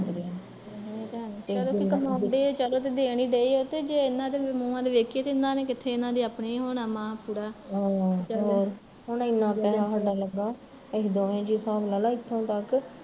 ਤੇ ਕਮਾਉਂਦੇ ਆ ਤੇ ਦੇਣ ਈ ਡਏ ਆ ਤੇ ਜੇ ਇਹਨਾਂ ਦੇ ਮੂਹਾਂ ਤੇ ਦੇਖੀਏ ਤਾਂ ਇਹਨਾਂ ਨੇ ਕਿੱਥੇ, ਇਹਨਾਂ ਦਾ ਆਪਣਾ ਹੁਣਾ ਮਸ ਪੂਰਾ